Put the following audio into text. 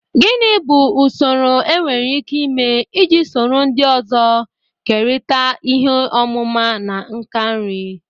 Gini bu usoro enwere ike ịme iji soro ndị ọzọ kerịta ihe ọmụma na nka nri?